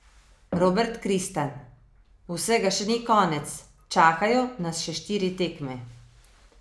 Robert Kristan: "Vsega še ni konec, čakajo nas še štiri tekme.